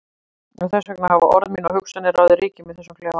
Og þess vegna hafa orð mín og hugsanir ráðið ríkjum í þessum klefa.